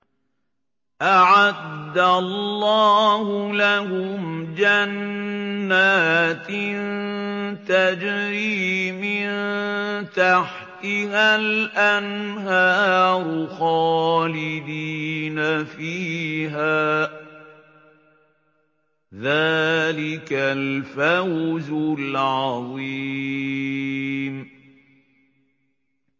أَعَدَّ اللَّهُ لَهُمْ جَنَّاتٍ تَجْرِي مِن تَحْتِهَا الْأَنْهَارُ خَالِدِينَ فِيهَا ۚ ذَٰلِكَ الْفَوْزُ الْعَظِيمُ